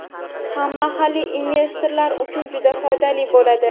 ham mahalliy investorlar uchun juda foydali bo‘ladi.